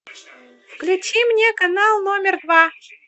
включи мне канал номер два